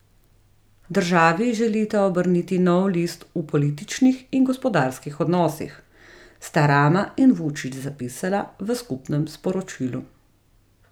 Državi želita obrniti nov list v političnih in gospodarskih odnosih, sta Rama in Vučić zapisala v skupnem sporočilu.